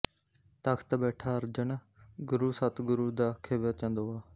ਤਖਤ ਬੈਠਾ ਅਰਜਨ ਗੁਰੂ ਸਤਗੁਰੂ ਦਾ ਖਿਵੈ ਚੰਦੋਆ